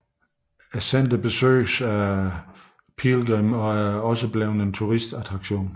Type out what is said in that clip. Centret besøges af pilgrimme og er også blevet en turistattraktion